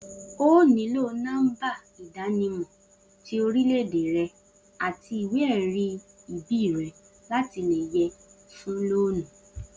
O óò níló nó̩mbá ìdánimò̩ ti orílè̩-èdè re̩ àti ìwé-è̩rí ìbí re̩ láti lè ye̩ fún lóònù